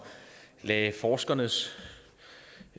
satte forskernes